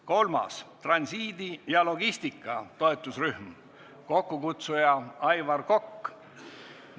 Kolmandaks, transiidi ja logistika toetusrühm, kokkukutsuja on Aivar Kokk.